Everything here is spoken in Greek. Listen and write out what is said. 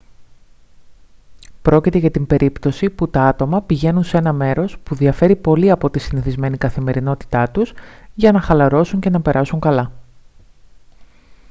πρόκειται για την περίπτωση που τα άτομα πηγαίνουν σε ένα μέρος που διαφέρει πολύ από τη συνηθισμένη καθημερινότητά τους για να χαλαρώσουν και να περάσουν καλά